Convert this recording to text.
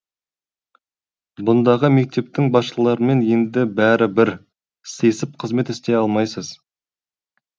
бұндағы мектептің басшыларымен енді бәрі бір сыйысып қызмет істей алмайсыз